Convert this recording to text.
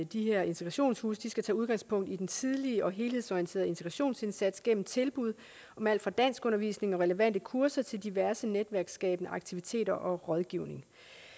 de her integrationshuse skal tage udgangspunkt i den tidlige og helhedsorienterede integrationsindsats gennem tilbud om alt fra danskundervisning og relevante kurser til diverse netværksskabende aktiviteter og rådgivning